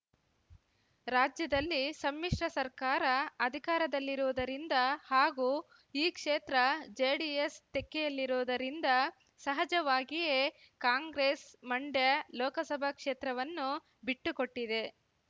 ರಾಜ್ಯದಲ್ಲಿ ಸಮ್ಮಿಶ್ರ ಸರ್ಕಾರ ಅಧಿಕಾರದಲ್ಲಿರುವುದರಿಂದ ಹಾಗೂ ಈ ಕ್ಷೇತ್ರ ಜೆಡಿಎಸ್ ತೆಕ್ಕೆಯಲ್ಲಿರುವುದರಿಂದ ಸಹಜವಾಗಿಯೇ ಕಾಂಗ್ರೆಸ್ ಮಂಡ್ಯ ಲೋಕಸಭಾ ಕ್ಷೇತ್ರವನ್ನು ಬಿಟ್ಟುಕೊಟ್ಟಿದೆ